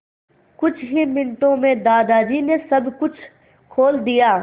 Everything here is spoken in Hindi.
कुछ ही मिनटों में दादाजी ने सब कुछ खोल दिया